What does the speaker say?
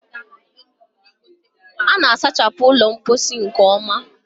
A na-asachapụ ụlọ mposi nke ọma?